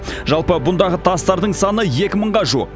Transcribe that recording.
жалпы бұндағы тастардың саны екі мыңға жуық